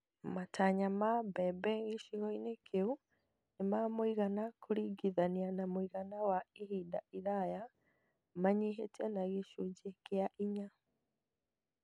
Matanya ma mbembe gĩcigo-inĩ kĩu nĩ ma mũigana kũringithania na mũigana wa ihinda iraya manyihĩte na gĩcunjĩ kĩa inya